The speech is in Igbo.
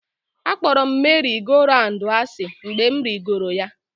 Akpọrọ m merị-go-raụndụ asị mgbe m rigoro ya